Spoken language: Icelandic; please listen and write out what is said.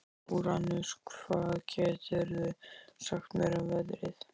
Úranus, hvað geturðu sagt mér um veðrið?